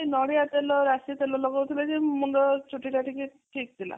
ନଡ଼ିଆ ତେଲ ରାଶି ତେଲ ଲଗଉ ଥିଲେ ଯେ ମୁଣ୍ଡ ଚୁଟି ଟା ଟିକେ ଠିକ ଥିଲା